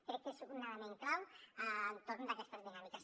crec que és un element clau entorn d’aquestes dinàmiques